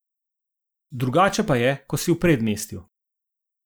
Drugače pa je, ko si v predmestju.